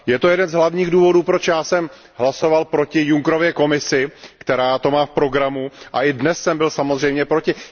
Je to jeden z hlavních důvodů, proč jsem já hlasoval proti Junckerově Komisi, která to má v programu, a i dnes jsem byl samozřejmě proti.